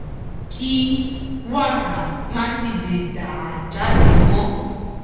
kí wàrà má sì lè dà jáde mọ́